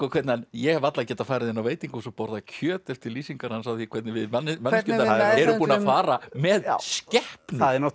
hvernig hann ég hef varla getað farið inn á veitingahús og borðað kjöt eftir lýsingar hans á því hvernig við manneskjurnar erum búin að fara með skepnur